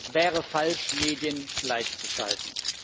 Und es wäre falsch, Medien gleichzuschalten.